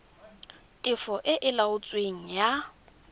tefo e e laotsweng ya